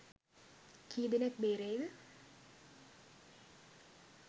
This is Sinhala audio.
කීදෙනෙක් බේරෙයිද